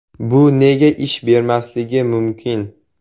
Bu nega ish bermasligi mumkin?